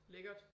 Lækkert